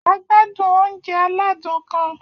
A gbádùn oúnjẹ aládùn kan